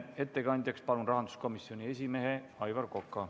Ettekandjaks palun rahanduskomisjoni esimehe Aivar Koka.